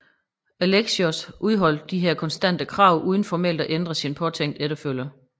Alexios udholdt disse konstante krav uden formelt at ændre sin påtænkte efterfølger